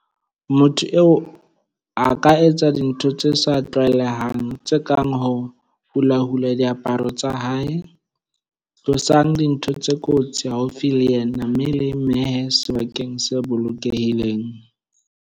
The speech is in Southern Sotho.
Motho eo a ka etsa dintho tse sa tlwaelehang tse kang ho hulahula diaparo tsa hae. Tlosang dintho tse kotsi haufi le yena mme le mmehe sebakeng se bolokehileng.